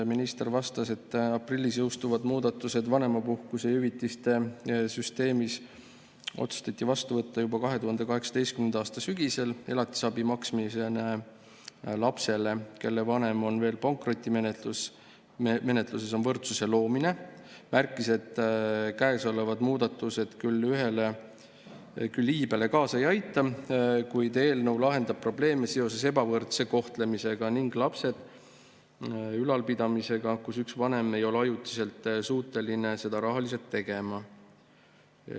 Minister vastas, et aprillis jõustuvad muudatused vanemapuhkuse ja ‑hüvitiste süsteemis otsustati vastu võtta juba 2018. aasta sügisel ja elatisabi maksmine lapsele, kelle vanem on pankrotimenetluses, on võrdsuse loomine, ning märkis, et käesolevad muudatused küll iibe kasvule kaasa ei aita, kuid eelnõu lahendab probleeme seoses ebavõrdse kohtlemisega ning lapse ülalpidamisega, kui üks vanem ei ole ajutiselt suuteline seda rahaliselt tegema.